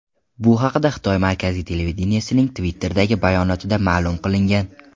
Bu haqda Xitoy markaziy televideniyesining Twitter’dagi bayonotida ma’lum qilingan .